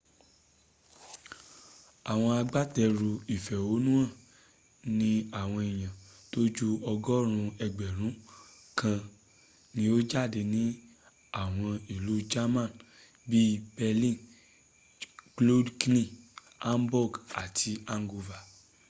àwọn agbátẹrù ìfẹ̀hónúhàn ní àwọn èèyàn tó ju ọgọ́rùn ún ẹgbẹ̀rún kan ni o jáde ní àwọn ìlú german bí i berlin cologne hamburg àti hanover